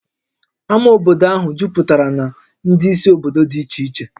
Ámá obodo ahụ juputara na ndị si obodo dị iche iche